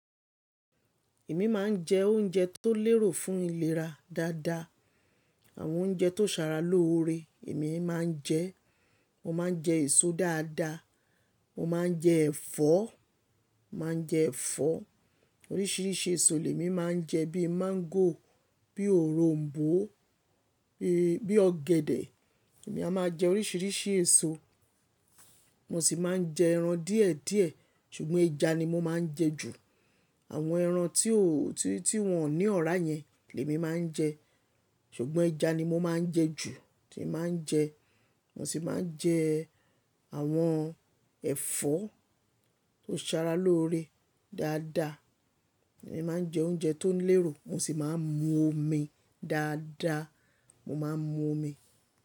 Èmi máa ń jẹ oúnjẹ tó lérò fún ìlera dáadáa. Àwọn oúnjẹ tó ṣara lóore èmi máa ń jẹ. Mo máa ń jẹ èso dáadáa, mo máa ń jẹ ẹ̀fọ́, màá jẹ ẹ̀fọ́. Oríṣiríṣi èso lèmi máa ń jẹ bíi máńgò, bíi òronbó, bíi, bíi ọ̀gẹ̀dẹ̀. Èmi a máa jẹ oríṣiríṣi èso. Mo sì máa ń jẹ ẹran díẹ̀ díẹ̀, ṣùgbọ́n ẹja ni mo máa ń jẹ jù. Àwọn ẹran tí ó, tí, tí wọ́n o ní ọ̀rá yẹn lẹmi máa ń jẹ. Ṣùgbọ́n ẹja ni mo máa ń jẹ jù, tíì máa ń jẹ. Mo sì máa ń jẹ àwọn ẹ̀fọ́ tó sara lóore dáadáa. Èmi máa ń jẹ oúnjẹ tó lérò. Mo sì máa ń mu omi dáadáa. Mo máa ń mu omi.